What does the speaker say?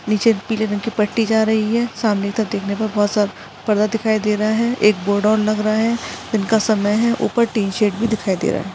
नीचे पीले रंग की पट्टी जा रही है सामने तक देखने पर बहुत सारा पर्दा दिखाई दे रहा है एक बोर्ड और लग रहा है दिन का समय है ऊपर टीशर्ट भी दिखाई दे रहा है।